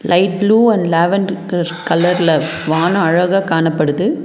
Light blue and lavender கல கலர்ல வானோ அழகா காணப்படுது.